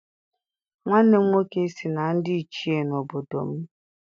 Nwanne m nwoke si na ndị Ichie n'obodo m.